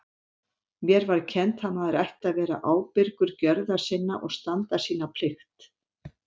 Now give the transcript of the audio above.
Mér var kennt að maður ætti að vera ábyrgur gjörða sinna og standa sína plikt.